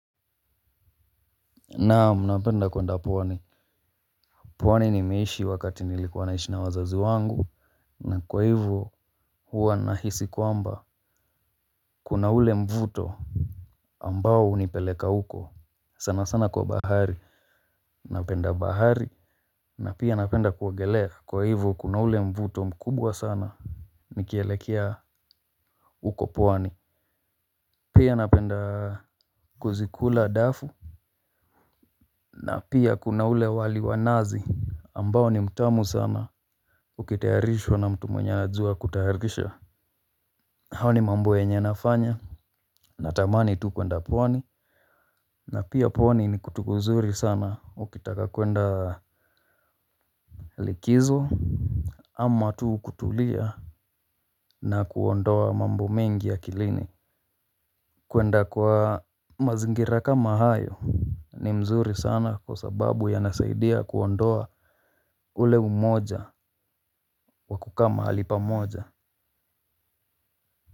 Naam napenda kuenda pwani, pwani nimeishi wakati nilikuwa naishi na wazazi wangu. Na kwa hivyo huwa nahisi kwamba kuna ule mvuto ambao unipeleka uko sana sana kwa bahari. Napenda bahari, na pia napenda kuogelea, kwa hivyo kuna ule mvuto mkubwa sana. Nikielekea uko pwani, pia napenda kuzikula dafu. Na pia kuna ule wali wa nazi ambao ni mtamu sana, ukitayarishwa na mtu mwenye anajua kutayarikisha na hao ni mambo enye nafanya. Natamani tu kwenda pwani. Na pia pwani ni kutu kuzuri sana, ukitaka kwenda likizo, ama tu kutulia na kuondoa mambo mengi ya akilini. Kuenda kwa mazingira kama hayo ni mzuri sana kwa sababu yanasaidia kuondoa ule umoja wakukaa mahali pa moja.